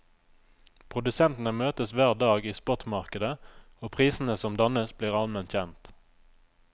Produsentene møtes hver dag i spotmarkedet, og prisene som dannes blir allment kjent.